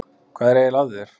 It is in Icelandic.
Hvað er eiginlega að þér?